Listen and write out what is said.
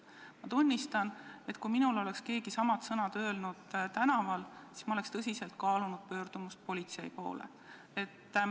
Ma tunnistan, et kui minule oleks keegi samad sõnad öelnud tänaval, siis ma oleks tõsiselt kaalunud pöördumist politsei poole.